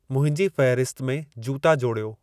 मुंहिंजी फ़हिरिस्त में जूता जोड़ियो